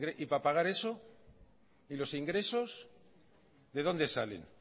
y para pagar eso y los ingresos de dónde salen